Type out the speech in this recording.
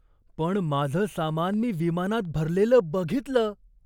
पण माझं सामान मी विमानात भरलेलं बघितलं.